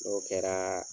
N'o kɛra